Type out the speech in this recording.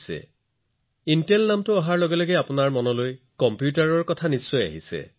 যদি ইণ্টেলৰ নাম আহে তেন্তে কম্পিউটাৰৰ ছবি নিজে নিজে আপোনাৰ মনলৈ আহিব